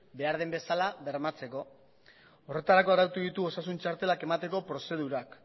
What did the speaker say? behar den bezala bermatzeko horretarako arautu ditu osasun txartelak emateko prozedurak